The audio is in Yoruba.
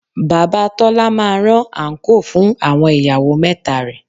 Bàbá Tọ́lá máa rán àńkò fún àwọn ìyàwó mẹ́ta rẹ̀